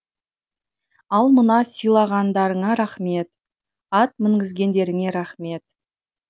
ал мына сыйлағандарыңа рахмет ат мінгізгендеріңе рахмет